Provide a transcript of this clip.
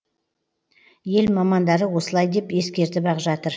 ел мамандары осылай деп ескертіп ақ жатыр